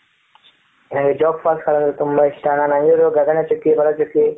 ನನಗೆ ಜೋಗ್ falls ಅಂದ್ರೆ ತುಂಬಾ ಇಷ್ಟ ನಾನ್ ಹೆಂಗಿದ್ರೂ ಗಗನಚುಕ್ಕಿ ಬರಚುಕ್ಕಿ